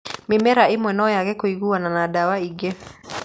Mĩmera ĩmwe no yage kũiguana na ndawa ingĩ.